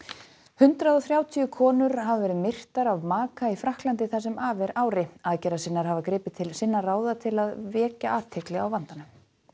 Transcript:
hundrað og þrjátíu konur hafa verið myrtar af maka í Frakklandi það sem af er ári aðgerðasinnar hafa gripið til sinna ráða til að vekja athygli á vandanum